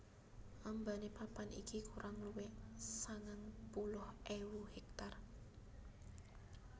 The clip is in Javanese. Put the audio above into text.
Ambane papan iki kurang luwih sangang puluh ewu hektar